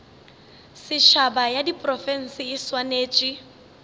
setšhaba ya diprofense e swanetše